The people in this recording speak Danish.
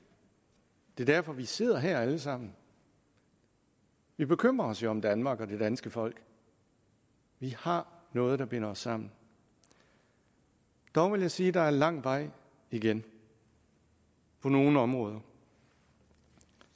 er derfor vi sidder her alle sammen vi bekymrer os jo om danmark og det danske folk vi har noget der binder os sammen dog vil jeg sige at der er lang vej igen på nogle områder